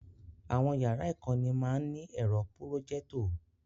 Àwọn yàrá ìkọ́ni má ń ní ẹ̀rọ Pùròjẹ́tọ̀